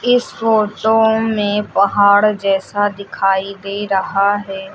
इस फोटो में पहाड़ जैसा दिखाई दे रहा है।